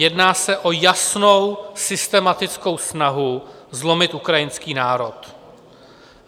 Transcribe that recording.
Jedná se o jasnou systematickou snahu zlomit ukrajinský národ.